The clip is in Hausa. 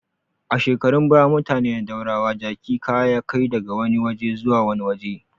A shekarun baya, mutane na daurawa jaki kaya ya kai daga wani waje zuwa wani waje.